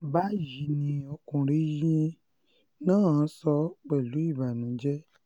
báyìí um ni ọkùnrin náà sọ pẹ̀lú ìbànújẹ́